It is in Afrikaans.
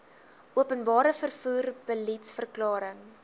openbare vervoer beliedsverklaring